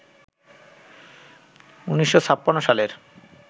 ১৯৫৬ সালের